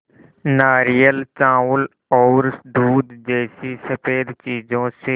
नारियल चावल और दूध जैसी स़फेद चीज़ों से